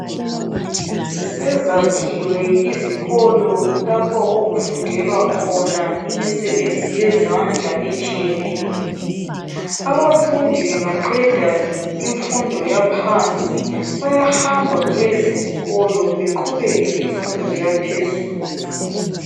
Sezakhiwe izikolo lapho okufundelwa khona imisebenzi yezandla etshiyeneyo abafundi bengaqeda imfundo yaphansi bayahamba kulezi izikolo beqhubeke ngemfundo yaphezulu.